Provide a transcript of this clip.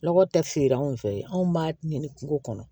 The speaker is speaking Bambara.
Lɔgɔ tɛ feere anw fɛ yen anw b'a ɲini kungo kɔnɔ